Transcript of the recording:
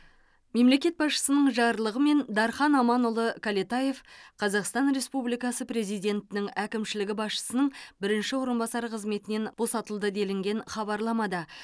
мемлекет басшысының жарлығымен дархан аманұлы кәлетаев қазақстан республикасы президентінің әкімшілігі басшысының бірінші орынбасары қызметінен босатылды делінген хабарламада